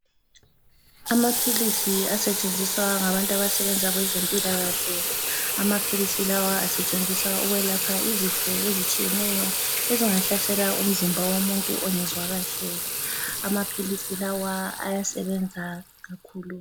Amaphilisi asetshenziswa ngabantu abasebenza kwezempilakahle amaphilisi lawa asetshenziswa ukwelapha izifo ezitshiyeneyo ezingahlasela umzimba womuntu ongezwa kahle amaphilisi lawa ayasebenza kakhulu.